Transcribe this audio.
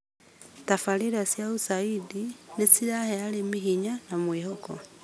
Tabarĩra cia USAID nĩ cirahe arĩmi hinya na mwĩhoko